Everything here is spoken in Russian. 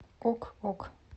ок ок